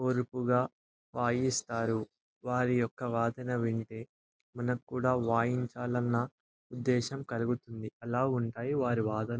ఓర్పుగా వాయిస్తారు. వారి యొక్క వాదన వింటె మనకి కూడా వాయించాలన్న ఉద్దేశం కలుగుతుంది.అలా ఉంటాయి వారి వాదన--